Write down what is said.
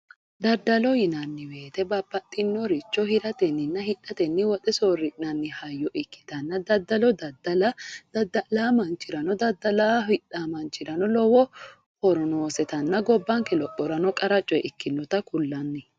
Daddalo yinanni woyte babbaxxinoricho hiratenninna hidhatenni woxe soorri'nanni hayyo ikkitanna daddalo daddala dadda'laa manchirano daddalo hidhaa manchirano lowo horo noosetanna gobbanke lophorano qara coye ikkinota kullanni